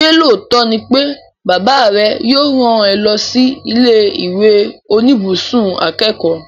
Ṣé lóòótọ́ ni pé bàbá rẹ yóò rán ẹ lọ sí ilé ìwé oníbùsùn akẹ́kọ̀ọ́?